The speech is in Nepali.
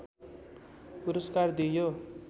पुरस्कार दिइयो